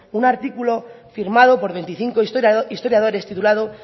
un artículo firmado por veinticinco historiadores titulado